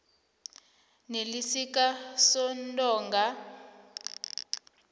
nelikasontonga